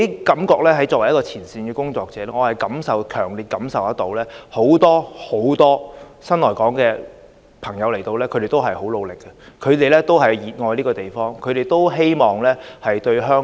作為前線工作者，我強烈感受到很多新來港人士皆十分努力，他們熱愛這地方，希望貢獻香港。